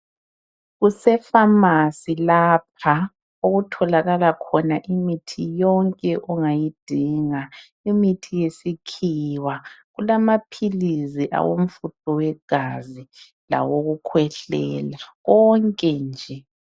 Kusefamasi lapha okutholakala khona imithi yonke ongayidinga imithi yesikhiwa kulamaphilisi awomfutho wegazi lawokukhwehlela konke nje.